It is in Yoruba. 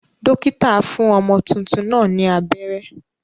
Dókítà fún ọmọ tuntun náà ni abẹ́rẹ́.